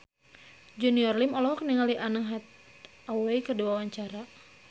Junior Liem olohok ningali Anne Hathaway keur diwawancara